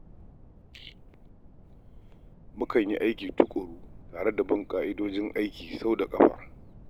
Mukan yi aiki tuƙuru tare da bin ƙa'idojin aiki sau da ƙafa.